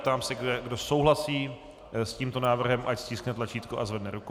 Ptám se, kdo souhlasí s tímto návrhem, ať stiskne tlačítko a zvedne ruku.